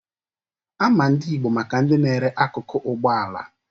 Ama ndị Igbo maka ndi na-ere akụkụ Ụgbọala.